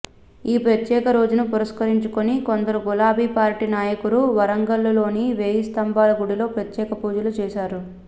ఈ ప్రత్యెక రోజును పురస్కరించుకొని కొందరు గులాబీ పార్టీ నాయకులు వరంగల్లులోని వేయి స్తంభాల గుడిలో ప్రత్యేక పూజలు చేశారు